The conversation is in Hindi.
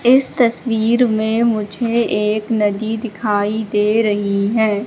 इस तस्वीर में मुझे एक नदी दिखाई दे रही है।